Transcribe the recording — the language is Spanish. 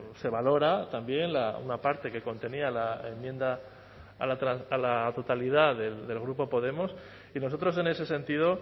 se valora también una parte que contenía la enmienda a la totalidad del grupo podemos y nosotros en ese sentido